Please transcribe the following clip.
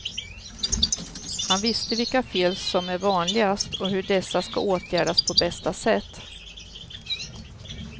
Han visste vilka fel som är vanligast och hur dessa ska åtgärdas på bästa sätt.